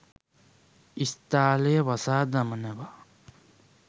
ඉස්තාලය වසා දමනවා